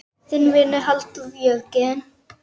Þinn vinur, Halldór Jörgen.